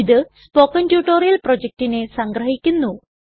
ഇത് spoken tutorial പ്രൊജക്റ്റിനെ സംഗ്രഹിക്കുന്നു